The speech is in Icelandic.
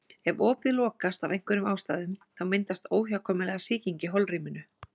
Ef opið lokast af einhverjum ástæðum þá myndast óhjákvæmilega sýking í holrýminu.